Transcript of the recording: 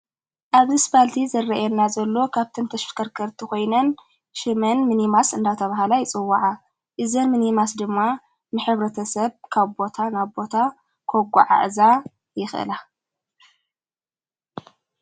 ኣብዚ ስባልቲ ዘረየና ዘሎ ካብተንተሽፍከርከርቲ ኾይነን ሽመን ምኒማስ እንዳተ ብሃላ ይጽወዓ እዘን ምኒማስ ድማ ምኅብረተ ሰብ ካቦታ ናቦታ ኰጎ ዓዕዛ ይኽላ።